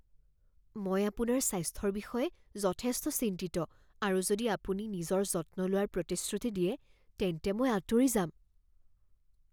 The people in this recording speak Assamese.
মই আপোনাৰ স্বাস্থ্যৰ বিষয়ে যথেষ্ট চিন্তিত আৰু যদি আপুনি নিজৰ যত্ন লোৱাৰ প্ৰতিশ্ৰুতি দিয়ে তেন্তে মই আঁতৰি যাম।